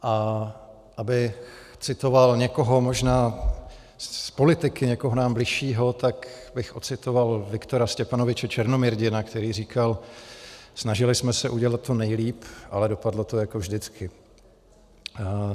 A abych citoval někoho možná z politiky, někoho nám bližšího, tak bych ocitoval Viktora Stěpanoviče Černomyrdina, který říkal: Snažili jsme se udělat to nejlíp, ale dopadlo to jako vždycky.